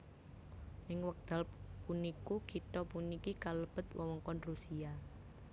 Ing wekdal puniku kitha puniki kalebet wewengkon Rusia